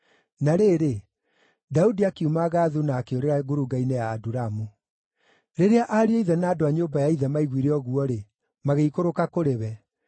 Na rĩrĩ, Daudi akiuma Gathu na akĩũrĩra ngurunga-inĩ ya Adulamu. Rĩrĩa ariũ a ithe na andũ a nyũmba ya ithe maiguire ũguo-rĩ, magĩikũrũka kũrĩ we.